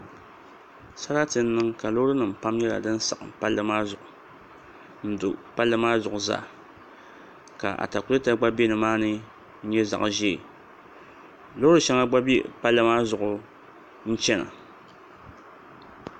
Sarati n niŋ ka loori nim pam nyɛla din saɣam palli maa zuɣu n do palli maa zuɣu zaa ka atakulɛta gba bɛ nimaani n nyɛ zaɣ ʒiɛ loori shɛŋa gba bɛ palli maa zuɣu n chɛna